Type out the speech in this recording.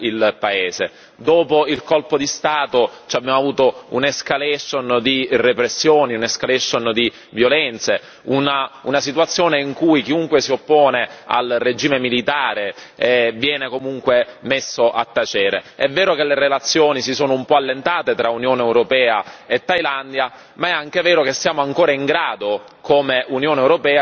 Dopo il colpo di Stato abbiamo avuto un'escalation di repressioni, un'escalation di violenze, una situazione in cui chiunque si oppone al regime militare viene comunque messo a tacere. È vero che le relazioni si sono un po' allentate tra Unione europea e Thailandia, ma è anche vero che siamo ancora in grado, come Unione europea, di fare pressione